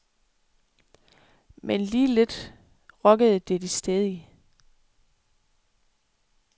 Men lige lidt rokkede det de stædige.